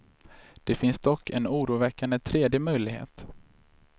Det finns dock en oroväckande tredje möjlighet.